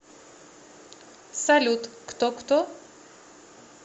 салют кто кто